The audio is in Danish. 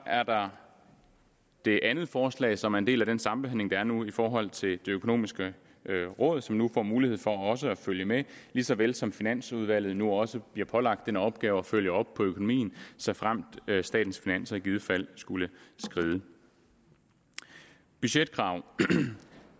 er der det andet forslag som er en del af den sambehandling der er nu i forhold til det økonomiske råd som nu får mulighed for også at følge med lige så vel som finansudvalget nu også bliver pålagt den opgave at følge op på økonomien såfremt statens finanser i givet fald skulle skride budgetkrav